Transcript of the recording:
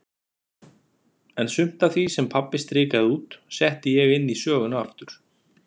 En sumt af því, sem pabbi strikaði út, setti ég inn í söguna aftur.